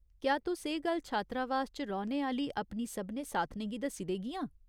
क्या तुस एह् गल्ल छात्रावास च रौह्‌ने आह्‌ली अपनी सभनें साथनें गी दस्सी देगियां ?